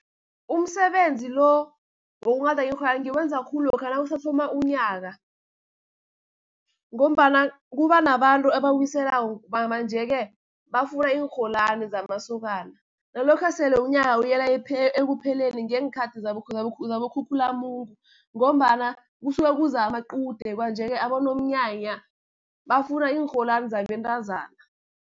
Umsebenzi lo, wokunghada iinrholwani ngiwenza khulu lokha nakusathoma unyaka, ngombana kuba nabantu abawiselako, manje-ke bafuna iinrholwani zamasokana. Nalokha sele unyaka uyela ekupheleni ngeenkhathi zaboKhukhulamungu, ngombana kusuke kuza amaqude. Kwanje-ke abonomnyanya bafuna iinrholwani zabentazana.